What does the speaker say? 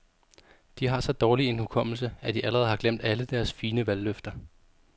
De har så dårlig en hukommelse, at de allerede har glemt alle deres fine valgløfter.